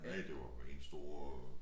Næ det var en stor øh